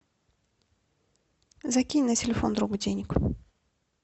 закинь на телефон другу денег